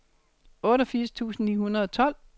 otteogfirs tusind ni hundrede og tolv